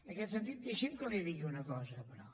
en aquest sentit deixi’m que li digui una cosa però